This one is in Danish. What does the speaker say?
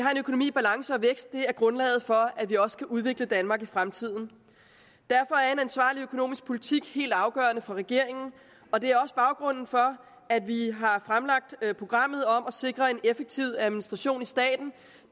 er grundlaget for at vi også kan udvikle danmark i fremtiden derfor er en ansvarlig økonomisk politik helt afgørende for regeringen og det er også baggrunden for at vi har fremlagt programmet om at sikre en effektiv administration i staten